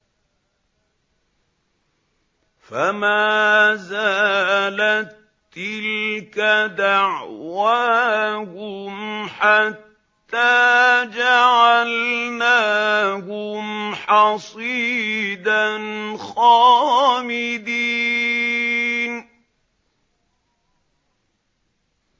فَمَا زَالَت تِّلْكَ دَعْوَاهُمْ حَتَّىٰ جَعَلْنَاهُمْ حَصِيدًا خَامِدِينَ